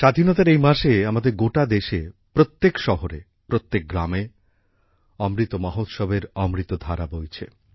স্বাধীনতার এই মাসে আমাদের গোটা দেশে প্রত্যেক শহরে প্রত্যেক গ্রামে অমৃত মহোৎসবের অমৃতধারা বইছে